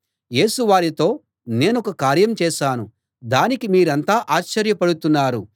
యేసు వారితో నేనొక కార్యం చేశాను దానికి మీరంతా ఆశ్చర్యపడుతున్నారు